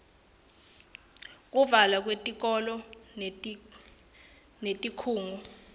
kuvalwa kwetikolo netikhungo